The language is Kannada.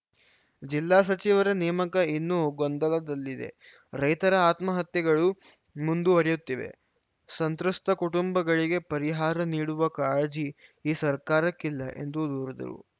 ಜಿಲ್ಲಾ ಸಚಿವರ ನೇಮಕ ಇನ್ನೂ ಗೊಂದಲದಲ್ಲಿದೆ ರೈತರ ಆತ್ಮಹತ್ಯೆಗಳು ಮುಂದುವರಿಯುತ್ತಿವೆ ಸಂತ್ರಸ್ತ ಕುಟುಂಬಗಳಿಗೆ ಪರಿಹಾರ ನೀಡುವ ಕಾಳಜಿ ಈ ಸರ್ಕಾರಕ್ಕಿಲ್ಲ ಎಂದು ದೂರಿದರು